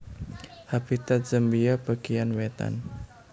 Habitat Zambia bagéyan wétan